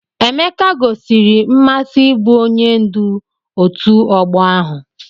Emeke gosiri mmasị ịbụ onye ndu ọtu ogbo ahu.